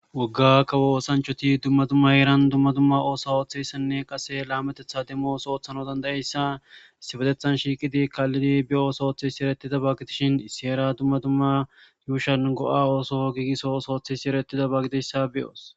Woga kawo oosanchchati duma dumma heran dumma dumma oso oththizayssanne qase banateththa demo oththonass dandayizayssa issipeteththan shiqidi be oso oththizayssa gidishshin heran dumma dumma heran go'a oso gigiso oththizayssa gidizayissa beyos